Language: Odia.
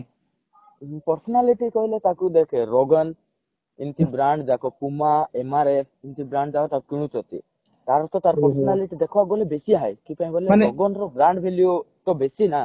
personality କହିଲେ ତାକୁ ଦେଖେ ରୋଗନ ଏମିତି brand ଯାକ puma MRF ଏମିତି brand ଯାକ ତାକୁ କିଣୁଛନ୍ତି ତା ଅର୍ଥ ତାର personality ଦେଖିବାକୁ ଗଲେ ବେସୀ high ରୋଗନ ର brand value ତା ବେସୀ ନା